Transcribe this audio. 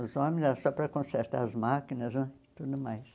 Os homens eram só para consertar as máquinas né e tudo mais.